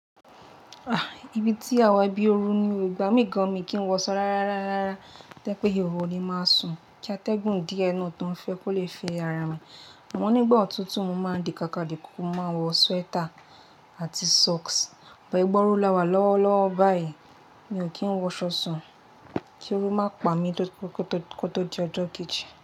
Ah! Ibi tí àwa ibí ooru ni o, ìgbá mí gan mi kí n wọṣọ rárá, rárá, rárá. Tó jé pé ìhòhò ni máa sùn, kí atẹ́gùn dí n'nu yì tó ń fẹ́ kó le fe ara mi. Àmọ́ n'ígbà òtútù, mo máa ń di kàkà dìkùku, mo máa wọ sweater àti socks. Bọ̀ ìgba ooru là wà lọ́wọ́ lọ́wọ́ báyìí, mi ò kí ń wọṣọ sún. Kí ooru má pa mi kó tó di ọjọ́ kejì.